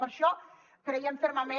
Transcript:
per això creiem fermament